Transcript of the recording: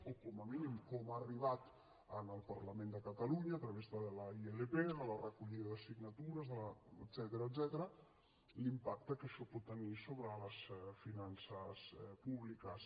o com a mínim com ha arribat al parlament de catalunya a través de la ilp de la recollida de signatures etcètera l’impacte que això pot tenir sobre les finances públiques